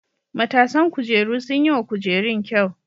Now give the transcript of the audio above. Matasan kujeru sun yi wa kujerun kyau.